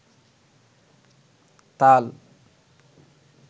তাল